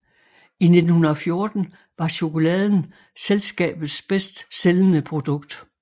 I 1914 var chokoladen selskabet bedst sælgende produkt